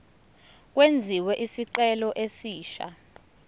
kwenziwe isicelo esisha